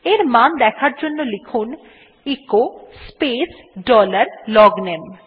এর মান দেখার জন্য লিখুন এচো স্পেস ডলার লগনামে